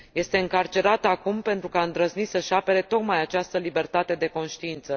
Este încarcerată acum pentru că a îndrăznit să și apere tocmai această libertate de conștiință.